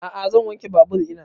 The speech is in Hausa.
A'a zan wanke babur ina